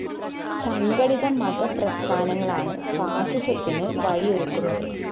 സംഘടിത മതപ്രസ്ഥാനങ്ങളാണ് ഫാസിസത്തിന് വഴിയൊരുക്കുന്നത്